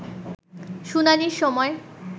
শুনানির সময়